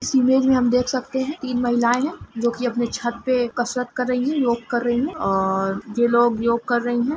इस इमेज में हम देख सकते है तिन महिलाएं है जो अपनी छत पे कसरत कर रही है योग कर रही है और ये लोग योग कर रही है ।